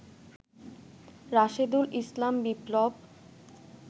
Rashedul Islam Biplab